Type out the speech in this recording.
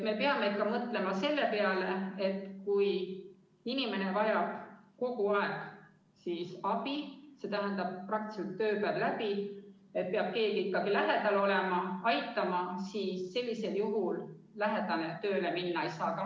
Me peame mõtlema selle peale, et kui inimene vajab kogu aeg abi, st ööpäev läbi peab keegi ta lähedal olema ja teda aitama, siis tema lähedane tööle minna ei saa.